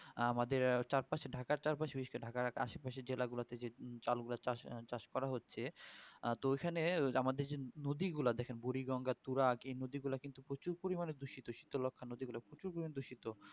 আমাদের চার পশে ঢাকার আসে পাশের জেলাগুলোতে যে চালু হয়ে চাষ করা হচ্ছে আ তো ওখানে ওই আমাদের যে নদী গুলা দেখেন বুড়িগঙ্গা তুরাগ এই নদীগুলা কিন্তু প্রচুর পরিমানে দূষিত শীতলক্ষা নদীগুলো প্রচুর পরিমানে দূষিত